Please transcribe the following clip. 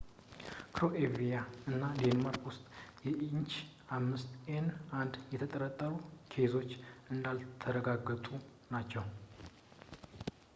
ክሮኤሺያ እና ዴንማርክ ውስጥ የ ኤች5ኤን1 የተጠረጠሩ ኬዞች እንዳልተረጋገጡ ናቸው